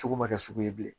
Sugu ma kɛ sugu ye bilen